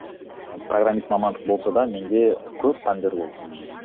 программист мамандығы болса да менде көп пәндер болды ммм